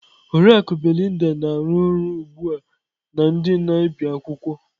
Oriakụ Belinda na-arụ ọrụ ugbu a na ndị na-ebi akwụkwọ.